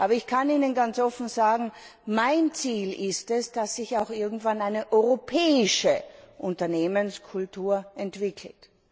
Aber ich kann Ihnen ganz offen sagen, mein Ziel ist es, dass sich auch irgendwann eine europäische Unternehmenskultur entwickelt.